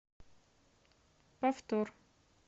повтор